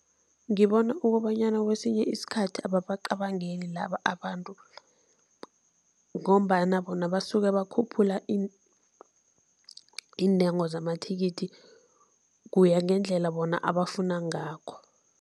Ngibona ukobanyana kwesinye isikhathi ababacabangeli laba abantu ngombana bona basuke bakhuphule iintengo zamathikithi, kuya ngendlela bona abafuna ngakho.